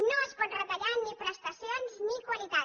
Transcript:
no es pot retallar ni prestacions ni qualitat